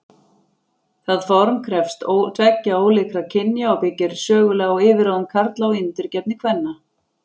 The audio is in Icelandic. Það form krefst tveggja ólíkra kynja og byggir sögulega á yfirráðum karla og undirgefni kvenna.